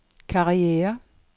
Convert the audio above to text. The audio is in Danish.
karriere